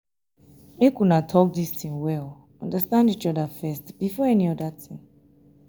make una talk dis thing well understand each other first before any other thing